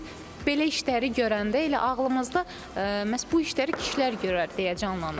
Biz belə işləri görəndə elə ağlımızda məhz bu işləri kişilər görər deyə canlanır.